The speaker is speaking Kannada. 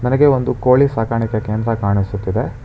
ನನಗೆ ಒಂದು ಕೋಳಿ ಸಕರ್ಣಿಕೆ ಕೇಂದ್ರ ಕಾಣಿಸುತ್ತಿದೆ.